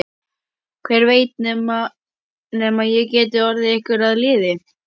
Hver veit nema ég geti orðið ykkur að liði.